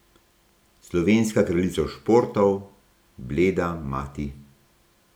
Slovenska kraljica športov, bleda mati.